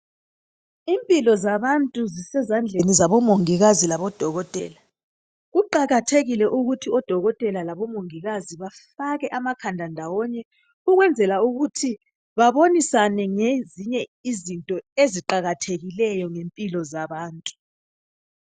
Impilo zabantu zisezandleni zabomongikazi labodokotela kuqakathekile ukuthi odokotela labomongikazi bafake amakhanda ndawonye ukwenzela ukuthi babonisane ngezinye izinto eziqakathekileyo ngempilo zabantu.